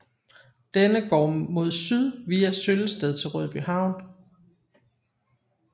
Denne går mod syd via Søllested til Rødbyhavn